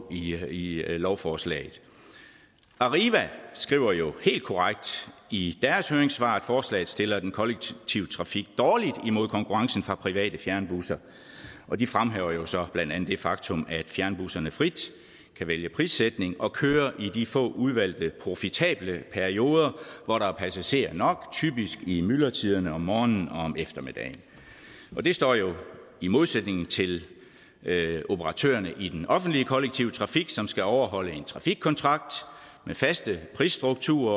i lovforslaget arriva skriver jo helt korrekt i deres høringssvar at forslaget stiller den kollektive trafik dårligt imod konkurrencen fra private fjernbusser og de fremhæver så blandt andet det faktum at fjernbusserne frit kan vælge prissætning og køre i de få udvalgte profitable perioder hvor der er passagerer nok typisk i myldretiden om morgenen og om eftermiddagen og det står jo i modsætning til operatørerne i den offentlige kollektive trafik som skal overholde en trafikkontrakt med faste prisstrukturer